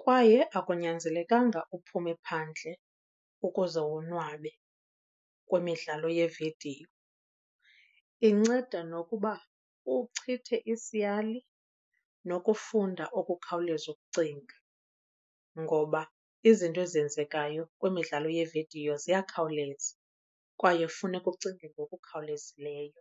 kwaye akunyanzelekanga uphume phandle ukuze wonwabe kwimidlalo yeevidiyo. Inceda nokuba uchithe isiyali nokufunda ukukhawuleza ukucinga, ngoba izinto ezenzekayo kwimidlalo yeevidiyo ziyakhawuleza kwaye funeka ucinge ngokukhawulezileyo.